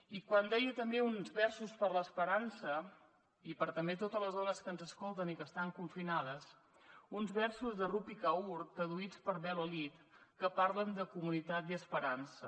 i quan deia també uns versos per a l’esperança i per també totes les dones que ens escolten i que estan confinades uns versos de rupi kaur traduïts per bel olid que parlen de comunitat i esperança